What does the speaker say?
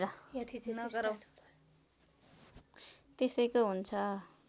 त्यसैको हुन्छ